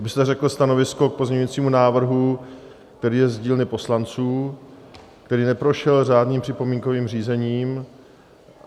Abyste řekl stanovisko k pozměňujícímu návrhu, který je z dílny poslanců, který neprošel řádným připomínkovým řízením.